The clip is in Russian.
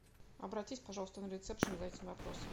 обратись пожалуйста на ресепшен за этим вопросом